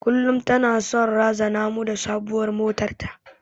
Kullum tana son razana mu da sabuwar motar ta.